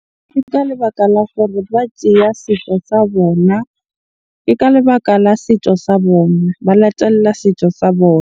Ke ka lebaka la gore ba tjeya setso sa bona. Ke ka lebaka la setso sa bona, ba latella setso sa bona.